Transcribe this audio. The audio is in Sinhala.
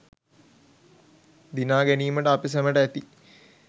දිනා ගැනීමට අප සැමට ඇති